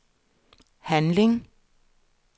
handling